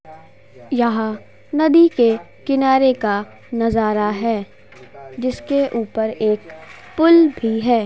यहाँ नदी के किनारे का नजारा है जिसके ऊपर एक पुल भी है।